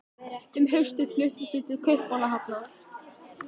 Um haustið fluttumst við til Kaupmannahafnar.